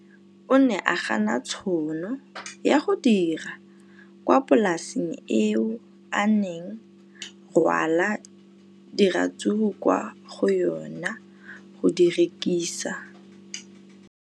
O ne a gana tšhono ya go dira kwa polaseng eo a neng rwala diratsuru kwa go yona go di rekisa.